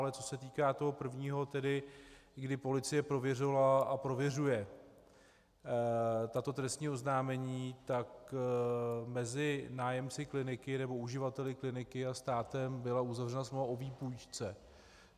Ale co se týká toho prvního, kdy policie prověřovala a prověřuje tato trestní oznámení, tak mezi nájemci Kliniky, nebo uživateli Kliniky a státem byla uzavřena smlouva o výpůjčce.